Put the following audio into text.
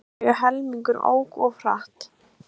Tæplega helmingur ók of hratt